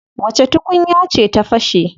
Wace tukunya ce ta fashe?